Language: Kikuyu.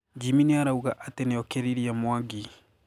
Jimmy nĩarauga atĩ "nĩokĩririe Mwangi"